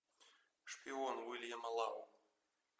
шпион уильяма лау